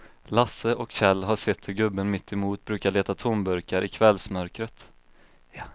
Lasse och Kjell har sett hur gubben mittemot brukar leta tomburkar i kvällsmörkret.